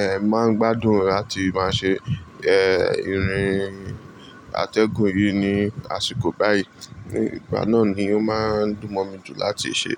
eh máa ń gbádùn láti máa ṣe eh irun atẹ́gùn yìí ní àsìkò báyìí. Nígbà náà ni ó máa ń dùn mọ́ mi jù láti ṣe.